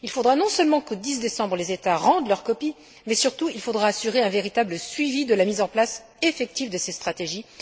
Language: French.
Il faudra non seulement que pour le 10 décembre, les États rendent leur copie, mais surtout il faudra assurer un véritable suivi de la mise en place effective de ces stratégies.